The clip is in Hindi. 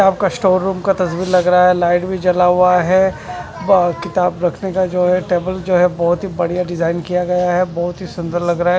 यह अपर स्टोर रूम का तस्वीर लग रहा है लाइट भी जला हुआ है और किताब रखने का जो है टेबल जो है बहोत ही भड़िया डिजाईन किया गया है बहोत की सुंदर लग रहा है।